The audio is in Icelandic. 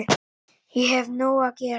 Ég hef nóg að gera